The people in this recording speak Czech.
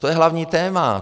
To je hlavní téma.